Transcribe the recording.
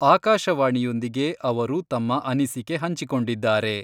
ಆಕಾಶವಾಣಿಯೊಂದಿಗೆ ಅವರು ತಮ್ಮ ಅನಿಸಿಕೆ ಹಂಚಿಕೊಂಡಿದ್ದಾರೆ.